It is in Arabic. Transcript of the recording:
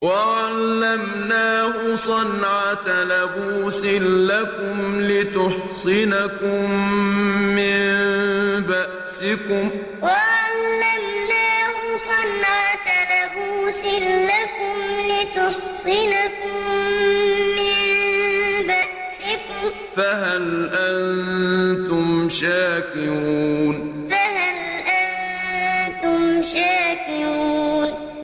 وَعَلَّمْنَاهُ صَنْعَةَ لَبُوسٍ لَّكُمْ لِتُحْصِنَكُم مِّن بَأْسِكُمْ ۖ فَهَلْ أَنتُمْ شَاكِرُونَ وَعَلَّمْنَاهُ صَنْعَةَ لَبُوسٍ لَّكُمْ لِتُحْصِنَكُم مِّن بَأْسِكُمْ ۖ فَهَلْ أَنتُمْ شَاكِرُونَ